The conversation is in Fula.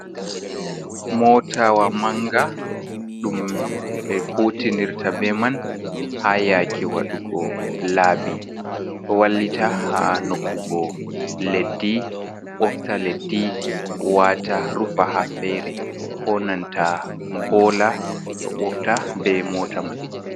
Motawa manga ɗum ɓe kutinirta be man ha yake waɗugo laabi ɗo wallita ha nokkugo leddi, ɓofta leddi wata rufa ha fere, ko nanta bola ɗo ɓofta be mota man.